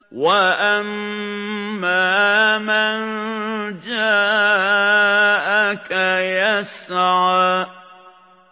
وَأَمَّا مَن جَاءَكَ يَسْعَىٰ